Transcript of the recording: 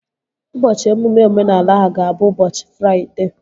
Ụbọchị emume omenala ahụ ga-abụ ụbọchị Fraịdee